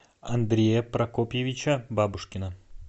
андрея прокопьевича бабушкина